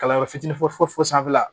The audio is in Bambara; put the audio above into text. Kalanyɔrɔ fitinin fɔ fo sanfɛla